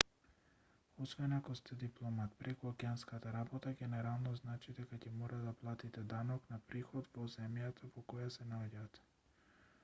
освен ако сте дипломат прекуокеанската работа генерално значи дека ќе мора да платите данок на приход во земјата во која се наоѓате